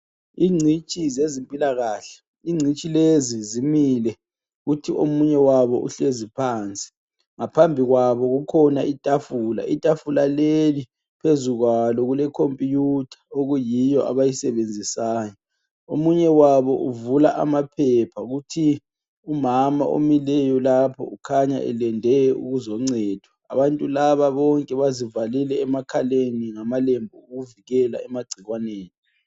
Incitshi zezimpilakahle incitshi lezi zimile kuthi omunye wabo uhlezi phansi ngsphambi kwabo kukhona itafula, itafula leli phezu kwalo kule khomputha okuyiyo abayisebenzisayo umunye wabo uvula amaphepha kuthi umama omileyo lapho ukhanya elinde ukuzoncedwa abantu laba bonke bazivalile emakhaleni ngamalembu owokuvikela emacikwaneni